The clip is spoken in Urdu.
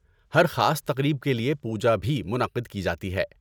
ہر خاص تقریب کے لیے پوجا بھی منعقد کی جاتی ہے؟